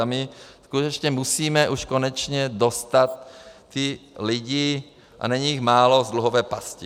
A my skutečně musíme už konečně dostat ty lidi, a není jich málo, z dluhové pasti.